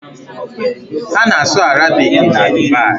Ha na-asụ Arabik na Dubai.